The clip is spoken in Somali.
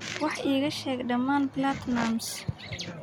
wax iiga sheeg dheeman platnumz